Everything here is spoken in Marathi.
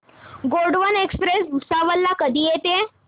गोंडवन एक्सप्रेस भुसावळ ला कधी येते